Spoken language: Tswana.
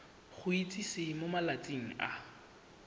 go itsise mo malatsing a